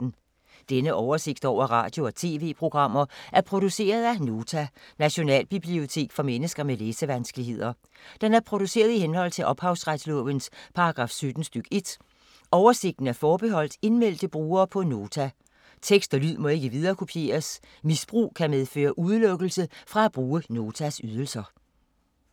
Denne oversigt over radio og TV-programmer er produceret af Nota, Nationalbibliotek for mennesker med læsevanskeligheder. Den er produceret i henhold til ophavsretslovens paragraf 17 stk. 1. Oversigten er forbeholdt indmeldte brugere på Nota. Tekst og lyd må ikke viderekopieres. Misbrug kan medføre udelukkelse fra at bruge Notas ydelser.